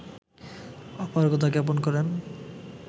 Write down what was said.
অপারগতা জ্ঞাপন করেন